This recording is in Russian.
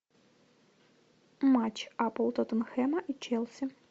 матч апл тоттенхэма и челси